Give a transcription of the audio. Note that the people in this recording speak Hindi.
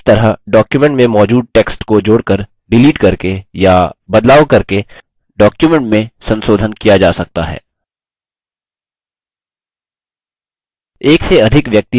इस तरह डॉक्युमेट में मौजूद टेक्स्ट को जोड़कर डिलीट करके या बदलाव करके डॉक्युमेंट में संसोधन किया जा सकता है